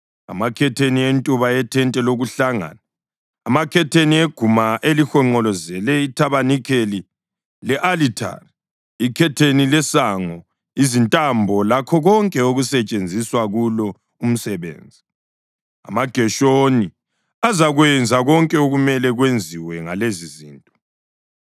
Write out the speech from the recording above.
amakhetheni eguma elihonqolozele ithabanikeli le-alithari, ikhetheni lesango, izintambo lakho konke okusetshenziswa kulo umsebenzi. AmaGeshoni azakwenza konke okumele kwenziwe ngalezizinto.